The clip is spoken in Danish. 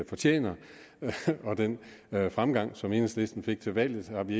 fortjent og den fremgang som enhedslisten fik ved valget har vi